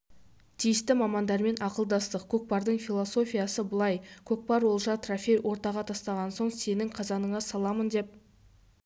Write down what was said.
тиісті мамандармен ақылдастық көкпардың философиясы былай көкпар олжа трофей ортаға тастаған соң сенің қазаныңа саламын деп